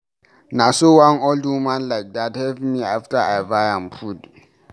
Na so one old woman like dat help me after I buy am food.